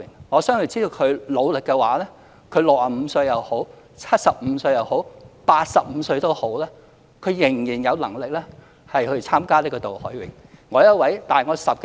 我相信只要他努力的話 ，65 歲、75歲、85歲也好，他仍然有能力參加渡海泳。